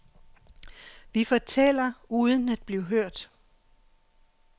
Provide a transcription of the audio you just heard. Vi fortæller uden at blive hørt.